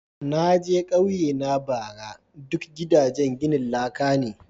Na je kauyena bara ,duk gidajen ginin laka ne.